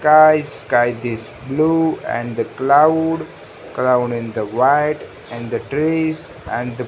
skies sky this blue and the cloud cloud in the white and the trees and the --